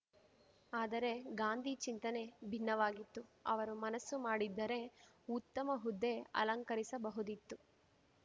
ಆದರೆ ಗಾಂಧಿ ಚಿಂತನೆ ಭಿನ್ನವಾಗಿತ್ತು ಅವರು ಮನಸ್ಸು ಮಾಡಿದ್ದರೆ ಉತ್ತಮ ಹುದ್ದೆ ಅಲಂಕರಿಸಬಹುದಿತ್ತು